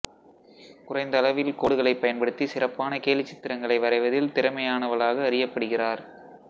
குறைந்த அளவில் கோடுகளைப் பயன்படுத்தி சிறப்பான கேலிச்சித்திரங்களை வரைவதில் திறமையானவலாக அறியப்படுகிறார்